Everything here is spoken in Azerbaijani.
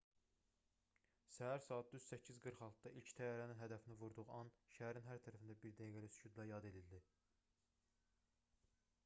səhər saat düz 8:46-da ilk təyyarənin hədəfini vurduğu an şəhərin hər tərəfində bir dəqiqəlik sükutla yad edildi